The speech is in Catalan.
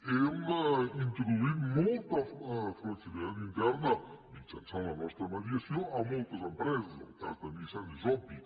hem introduït molta flexibilitat interna mitjançant la nostra mediació a moltes empreses el cas de nissan és obvi